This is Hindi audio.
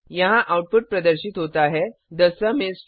यहाँ आउटपुट प्रदर्शित होता है थे सुम इस 15